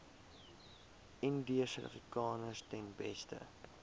indiërsuidafrikaners ten beste